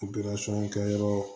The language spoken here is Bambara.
kɛyɔrɔ